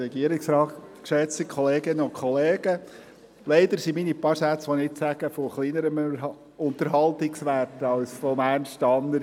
Leider sind meine paar Sätze, die ich nun sage, von kleinerem Unterhaltungswert als diejenigen von Ernst Tanner.